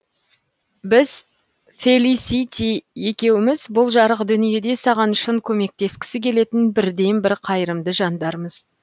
біз фелисити екеуміз бұл жарық дүниеде саған шын көмектескісі келетін бірден бір қайырымды жандармыз